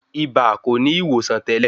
Ibà kò ní ìwòsàn tẹ́lẹ̀.